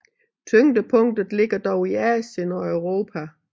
Tyngdepunktet ligger dog i Asien og Europa